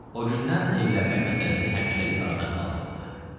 O gündən evlənmək məsələsi həmişəlik aradan qaldırıldı.